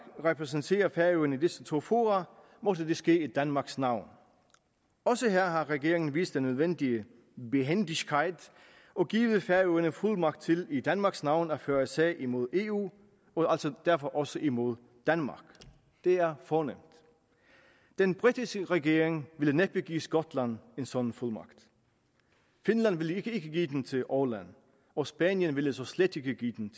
repræsenterer færøerne i disse to fora måtte det ske i danmarks navn også her har regeringen vist den nødvendige behändigkeit og givet færøerne fuldmagt til i danmarks navn at føre sag imod eu altså derfor også imod danmark det er fornemt den britiske regering ville næppe give skotland en sådan fuldmagt finland ville ikke give den til åland og spanien ville slet ikke give den